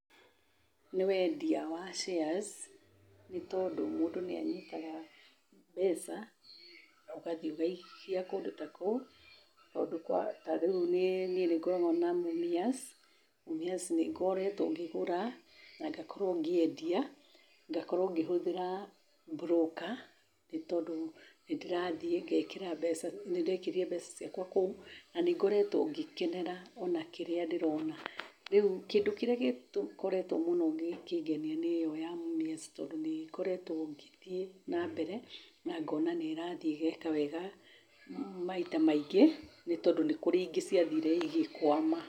Nĩ wendia wa shares, nĩ tondũ mũndũ nĩ anyitaga mbeca, ũgathiĩ ũgaikia kũndũ ta kũu. Tondũ ta rĩu niĩ nĩ ngoragwo na Mumias, Mumias nĩ ngoretwo ngĩgũra, na ngakorwo ngĩendia, ngakorwo ngĩhũthĩra broker nĩ tondũ nĩ ndĩrathiĩ ngeekĩra mbeca, nĩ ndekĩrire mbeca ciakwa kũu na ngoretwo ngĩkenera o na kĩrĩa ndĩrona. Rĩu, kĩndũ kĩrĩa gĩkoretwo mũno gĩkĩngenia nĩ ĩyo ya Mumias tondũ nĩ ngoretwo ngĩthiĩ nambere na ngoona nĩ ĩrathiĩ ĩgeeka wega maita maingĩ, nĩ tondũ kũrĩ na ingĩ ciathire igĩkwama.